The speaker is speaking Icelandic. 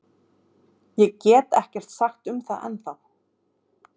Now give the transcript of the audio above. Ég get ekkert sagt um það ennþá.